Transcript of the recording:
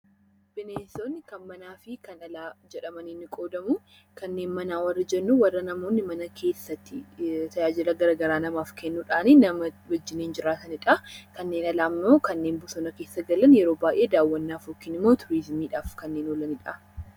Bineensonni kan alaa fi kan manaa jedhamuun ni qoodamu. Kanneen manaa warreen jennuun kan namni mana keessatti tajaajila garaagaraa namaaf kennuudhaan kan nama wajjin jiraatanidha. Kanneen alaa immoo kanneen bosona keessa galanidha. Yeroo baayyee daawwannaaf yookiin immoo turizimiidhaaf kanneen oolanidha.